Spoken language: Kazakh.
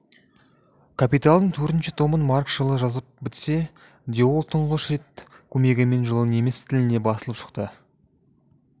капиталдың төртінші томын маркс жылы жазып бітсе де ол тұңғыш рет көмегімен жылы неміс тілінде басылып шықты